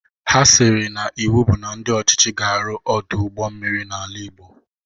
Ha siri na iwu bụ na ndị ọchịchị ga-arụ Ọdụ ụgbọ mmiri n'ala igbo